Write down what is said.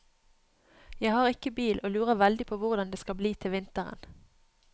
Jeg har ikke bil og lurer veldig på hvordan det skal bli til vinteren.